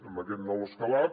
amb aquest nou escalat